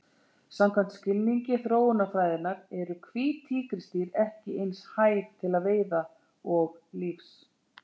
Samkvæmt skilningi þróunarfræðinnar eru hvít tígrisdýr ekki eins hæf til veiða og lífs.